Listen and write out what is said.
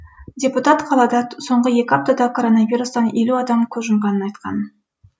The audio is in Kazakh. депутат қалада соңғы екі аптада коронавирустан елу адам көз жұмғанын айтқан